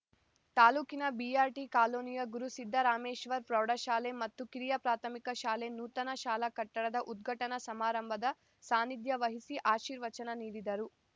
ತಾಲೂಕಿನ ಬಿಆರ್‌ಟಿ ಕಾಲೋನಿಯ ಗುರು ಸಿದ್ದರಾಮೇಶ್ವರ ಪ್ರೌಢಶಾಲೆ ಮತ್ತು ಕಿರಿಯ ಪ್ರಾಥಮಿಕ ಶಾಲೆ ನೂತನ ಶಾಲಾ ಕಟ್ಟಡದ ಉದ್ಘಾಟನಾ ಸಮಾರಂಭದ ಸಾನ್ನಿಧ್ಯ ವಹಿಸಿ ಆಶೀರ್ವಚನ ನೀಡಿದರು